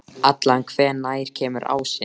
Allan, hvenær kemur ásinn?